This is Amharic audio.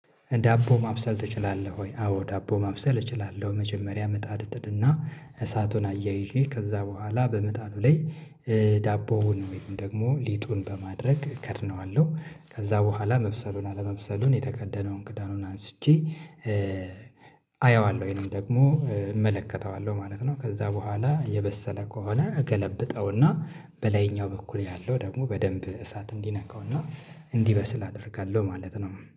ዳቦ ማብሰል እችላለሁ ወይ? አዎ ዳቦ ማብሰል እችላለሁ መጀመሪያ ምጣድ እጥድና እሳቱን አያይዤ ከዛ በኋላ በምጣዱ ላይ ዳቦውን ወይም ደግሞ ሊጡን በማድረግ እከድነዋለሁ ከዛ በኋላ መብሰሉን አለመብሰሉን የተከደነውን ክዳኑን አንስቼ አየዋለሁ ወይም ደግሞ እመለከተዋለሁ ማለት ነው ከዛ በኋላ የበሰለ ከሆነ እገለብጠውና በላይኛው በኩል ያለው ደግሞ በደንብ እሳት እንዲነካውና እንዲበስል አደርጋለሁ ማለት ነው